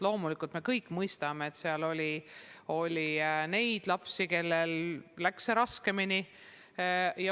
Loomulikult me kõik mõistame, et oli lapsi, kellel läks raskemini.